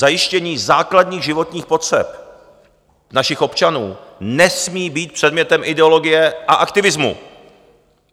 Zajištění základní životních potřeb našich občanů nesmí být předmětem ideologie a aktivismu.